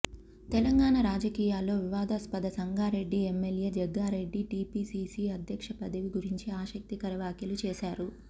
తెలంగాణ రాజకీయాల్లో వివాదాస్పద Sangareddy MLA Jaggareddy TPCC అధ్యక్ష పదవి గురించి ఆసక్తికర వ్యాఖ్యలు చేశారు